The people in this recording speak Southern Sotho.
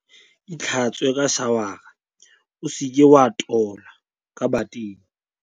Itlhatswe ka shawara o se ke wa itola ka bateng.